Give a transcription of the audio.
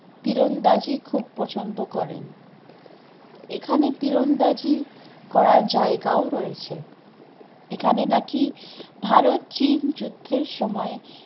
তীরন্দাজি খুব প্রছন্দ করেন, এখানে তীরন্দাজি করার জায়গা ও রয়েছে, এখানে নাকি ভারত চীন যুদ্ধের সময়